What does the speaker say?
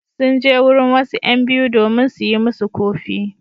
Sun je wurin wasu ƴan biyu domin su yi musu ƙofi.